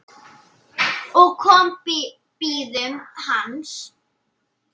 og komu bíðum hans